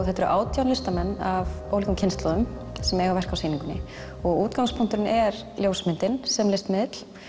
þetta eru átján listamenn af ólíkum kynslóðum sem eiga verk á sýningunni og útgangspunkturinn er ljósmyndin sem listmiðill